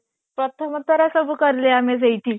ପ୍ରଥମ ଥର ସବୁ କଲେ ଆମେ ସେଇଠି